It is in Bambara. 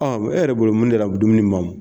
Ɔ e yɛrɛ bolo mun de la dumuni ma mɔn.